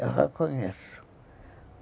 Eu reconheço.